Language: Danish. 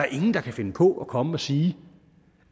ingen der kan finde på at komme og sige